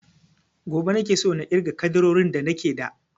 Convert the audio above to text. Gobe nake so na irga ƙaddarorin da nake da